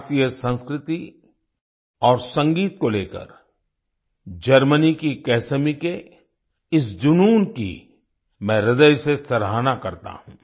भारतीय संस्कृति और संगीत को लेकर जर्मनी की कैसमी के इस जुनून की मैं ह्रदय से सराहना करता हूँ